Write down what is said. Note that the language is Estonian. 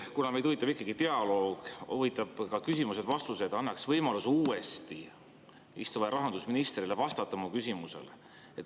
Kuna meid huvitab ikkagi dialoog ja huvitavad ka küsimused-vastused, siis võib‑olla annaks uuesti võimaluse istuvale rahandusministrile vastata mu küsimusele.